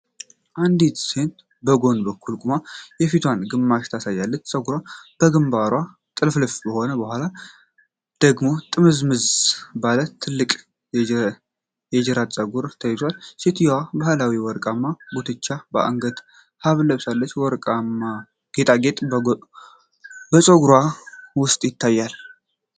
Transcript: አንዲት ሴት በጎን በኩል ቆማ የፊቷን ግማሽ ታሳያለች፤ ፀጉሯ በግንባሩ ጥልፍልፍ ሆኖ በኋለኛው ደግሞ ጥምዝዝ ባለ ትልቅ የጅራት ፀጉር ተይዟል። ሴትየዋ ባህላዊ ወርቃማ ጉትቻና የአንገት ሐብል ለብሳለች፤ ወርቃማ ጌጥም በፀጉሯ ውስጥ ይታያል።